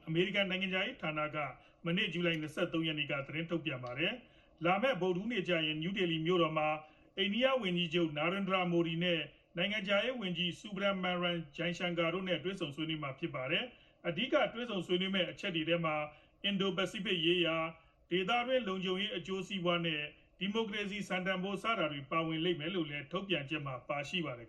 အမေရိကန်နိုင်ငံခြားရေး ဌာနက ဇူလိုင်လ ၂၃ ရက်နေ့က သတင်းထုတ်ပြန်ပါတယ်။ လာမယ့် ဗုဒ္ဓဟူးနေ့ကြရင် နယူးဒေလီမြို့မှာ အိန္ဒိယဝန်ကြီးချုပ် Narendra Modi နဲ့ နိုင်ငံခြားရေးဝန်ကြီး Subrahmanyam Jaishankar တို့နဲ့ တွေ့ဆုံကြမှာဖြစ်ပါတယ်။ အဓိက ဆွေးနွေးကြမယ့်အချက်တွေထဲမှာ အင်ဒို ပစီဖိတ် ရေးရာ၊ ဒေသတွင်း လုံခြုံရေး အကျိုးစီးပွား၊ ဒီမိုကရေစီ စံတန်ဖိုး စတာတွေလည်း ပါဝင်လိမ့်မယ်လို့ ထုတ်ပြန်ချက်မှာ ပါရှိပါတယ်